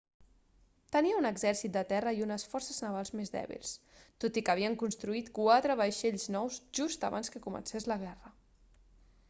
tenia un exèrcit de terra i unes forces navals més dèbils tot i que havien construït quatre vaixells nous just abans que comencés la guerra